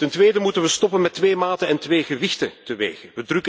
Bovendien moeten we stoppen met twee maten en twee gewichten te wegen.